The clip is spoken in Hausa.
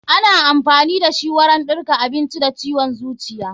Ana amfani dashi wurin ɗarka abinci da ciwon zuciya.